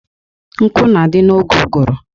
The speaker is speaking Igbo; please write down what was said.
Nkụ na-adị n'oge ụgụrụ.